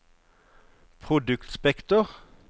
produktspekter